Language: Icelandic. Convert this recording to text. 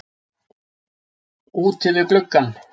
Úti við gluggann.